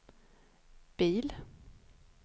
bil